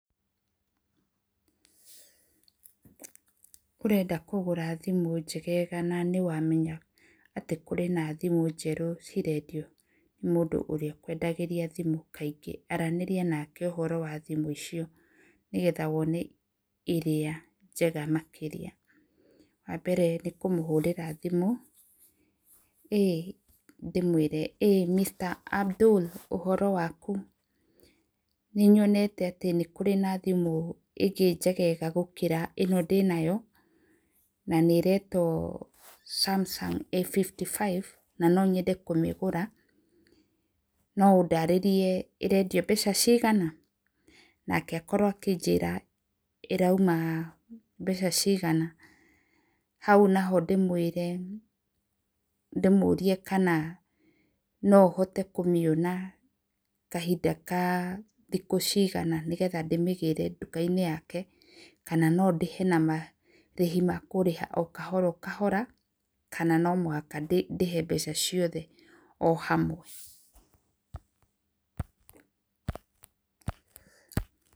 Ũrenda kũgũra thimũ njegega na nĩ wamenya atĩ kũrĩ thimũ njerũ cirendio nĩ mũndũ ũrĩa ũkwendagĩria thimũ kaingĩ, aranĩria nake ũhoro wa thimũ icio nĩgetha wone ĩrĩa njega makĩria, wa mbere nĩ kũmũrĩra thimũ ndĩmwĩre, "ĩĩ Mr.Abdul ũhoro waku nĩ? Nĩ nyonete atĩ nĩ kũrĩ na thimũ ĩngĩ njegega gũkĩra ĩno ndĩnayo na nĩretwo Samsung A55 na nyonende kũmĩgũra no ũndarĩrie ĩrendio mbeca cigana?" Nake akorwo akĩnjĩra ĩrauma mbeca cigana hau naho ndĩmwĩre, ndĩmũrie kana no hote kũmĩona kahinda ka thikũ cigana nĩgetha ndĩmĩgĩre duka-inĩ yake kana no ndĩhe na marĩhi ma kũrĩha kahora, kahora kana no mũhaka ndĩhe mbeca ciothe hamwe.